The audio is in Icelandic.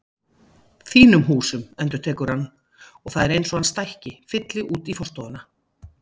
Þínum húsum endurtekur hann og það er eins og hann stækki, fylli út í forstofuna.